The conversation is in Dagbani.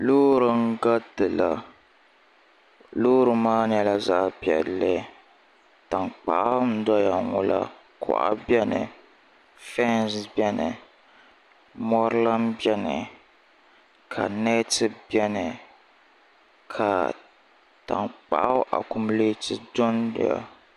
loori n-garitila loori maa nyɛla zaɣ' piɛlli tankpaɣu n-doya ŋɔ la kuɣa bɛni fɛnsi bɛni mɔri lan bɛni ka nɛti bɛni ka tankpaɣu akumuleeti dondoya